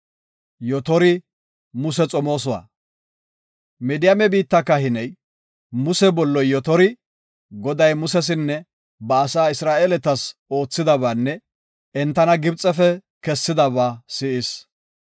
Midiyaame biitta kahiney, Muse bolloy Yotori, Goday Musesinne ba asaa Isra7eeletas oothidabaanne entana Gibxefe kessidaba si7is.